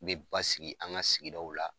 Me basigi an ka sigi daw la.